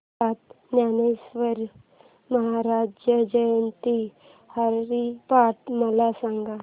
संत ज्ञानेश्वर महाराज जयंती हरिपाठ मला सांग